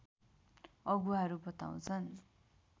अगुवाहरू बताउँछन्